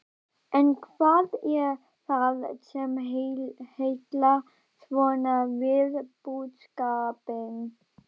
En hvað er það sem heillar svona við búskapinn?